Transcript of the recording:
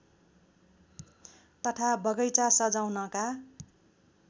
तथा बगैँचा सजाउनका